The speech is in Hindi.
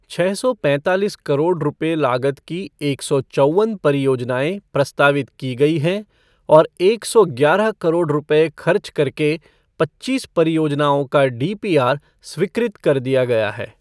छः सौ पैंतालीस करोड़ रूपए लागत की एक सौ चौवन परियोजनाएं प्रस्तावित की गई है और एक सौ ग्यारह करोड़ रूपए खर्च करके पच्चीस परियोजनाओं का डीपीआर स्वीकृत कर दिया गया है।